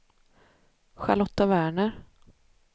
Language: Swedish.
Charlotta Werner